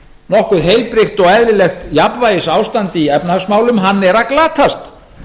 nokkuð heilbrigt og eðlilegt jafnvægisástand í efnahagsmálum hann er að glatast